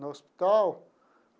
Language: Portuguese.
No hospital?